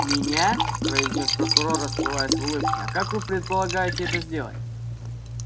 меня произнёс прокурор расплываясь в улыбке а как вы предполагаете это сделать